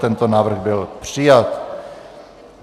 Tento návrh byl přijat.